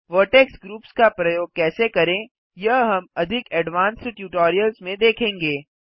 vertex groups का प्रयोग कैसे करें यह हम अधिक एडवांस्ड ट्यूटोरियल्स में देखेंगे